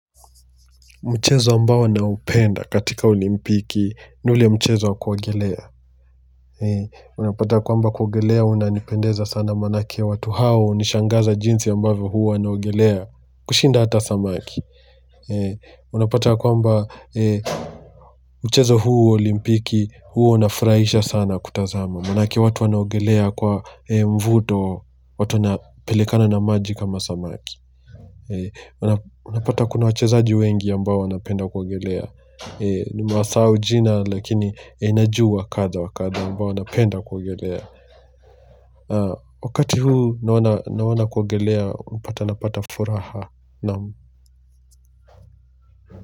Mchezo ambao naupenda katika olimpiki, ni ule mchezo wa kuogelea. Unapata kwamba kuogelea, unanipendeza sana maanake watu hao, hunishangaza jinsi ambavyo huwa wanaogelea, kushinda hata samaki. Unapata kwamba, mchezo huu wa olimpiki, huwa unafurahisha sana kutazama. Maanake watu wanaogelea kwa mvuto, watu wanapelekana na maji kama samaki. Unapata kuna wachezaji wengi ambao wanapenda kuogelea. Nimewasahau jina, lakini najua kadhaa wa kadhaa ambao wanapenda kuogelea. Wakati huu naona naona kuogelea, unapata napata furaha.